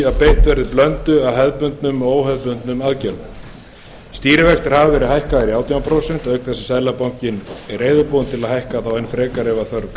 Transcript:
að beitt verið blöndu af hefðbundnum og óhefðbundnum aðgerðum stýrivextir hafa verið hækkaðir í átján prósent auk þess sem seðlabankinn er reiðubúinn að hækka stýrivextina enn frekar ef þörf